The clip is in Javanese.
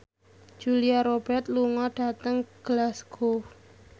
Julia Robert lunga dhateng Glasgow